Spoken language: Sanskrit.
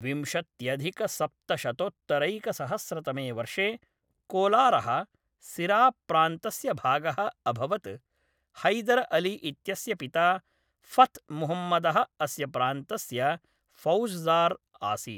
विंशत्यधिकसप्तशतोत्तरैकसहस्रतमे वर्षे कोलारः सिराप्रान्तस्य भागः अभवत्; हैदर अली इत्यस्य पिता फथ् मुहम्मदः अस्य प्रान्तस्य फौजदार् आसीत् ।